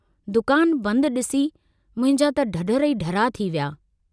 दुकान बंद डिसी मुंहिंजा त ढढर ई ढर्रा थी विया।